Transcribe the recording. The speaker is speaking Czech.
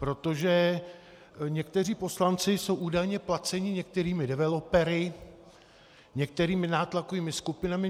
Protože někteří poslanci jsou údajně placeni některými developery, některými nátlakovými skupinami.